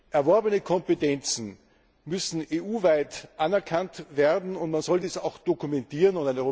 Erworbene Kompetenzen müssen EU weit anerkannt werden, und man soll diese auch dokumentieren.